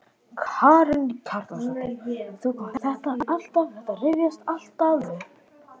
Karen Kjartansdóttir: Þú kannt þetta alltaf, þetta rifjast alltaf upp?